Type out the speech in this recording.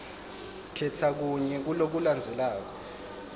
khetsa kunye kulokulandzelako